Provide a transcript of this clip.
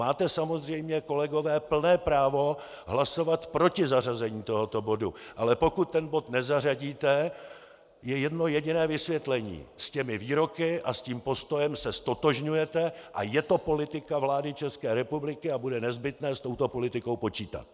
Máte samozřejmě, kolegové, plné právo hlasovat proti zařazení tohoto bodu, ale pokud ten bod nezařadíte, je jedno jediné vysvětlení: S těmi výroky a s tím postojem se ztotožňujete a je to politika vlády České republiky a bude nezbytné s touto politikou počítat.